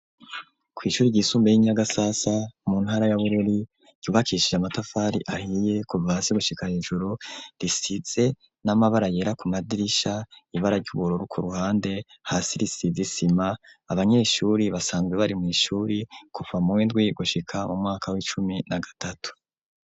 Kw'ishuri ry'isumbuye ryi Nyagasasa mu ntara ya Bururi ryubakishije amatafari ahiye kuva hasi gushika hejuru risize n'amabara yera ku madirisha ibara ry'ubururu ku ruhande hasi risize isima abanyeshuri basanzwe bari mu ishuri kuva muwindwi gushika mu mwaka w'icumi na gatatu.